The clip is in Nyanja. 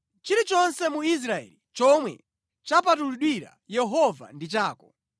“Chilichonse mu Israeli chomwe chapatulidwira Yehova ndi chako.